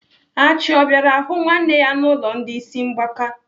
Achị ọ bịara hụ nwanne ya n'ụlọ ndị ịsị mgbaka?